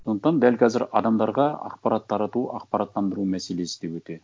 сондықтан дәл қазір адамдарға ақпарат тарату ақпараттандыру мәселесі де өте